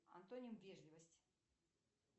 антоним вежливость